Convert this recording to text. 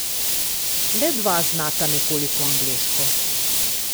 Le dva znata nekoliko angleško.